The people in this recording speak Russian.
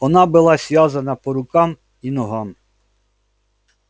она была связана по рукам и ногам